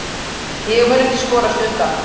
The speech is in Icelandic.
Ég mun ekki skorast undan.